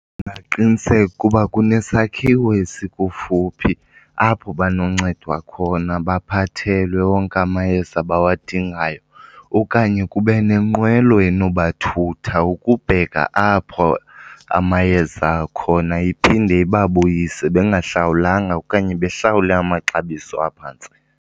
Ndingaqiniseka uba kunesakhiwo esikufuphi apho banoncedwa khona baphathelwe wonke amayeza abawadingayo. Okanye kube nenqwelo enobathutha ukubheka apho amayeza akhona iphinde ibabuyise bengahlawulanga okanye behlawule amaxabiso aphantsi.